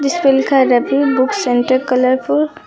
जिसपे लिखा है का रवि बुक सेंटर कलरफुल ।